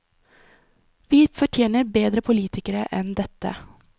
Vi fortjener bedre politikere enn dette.